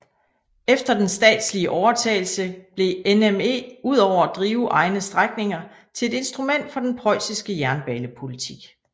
Efter den statslige overtagelse blev NME udover at drive egne strækninger til et instrument for den preussiske jernbanepolitik